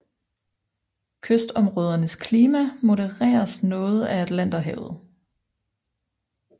Kystområdernes klima modereres noget af Atlanterhavet